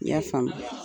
I y'a faamu